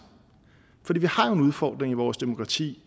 for vi i vores demokrati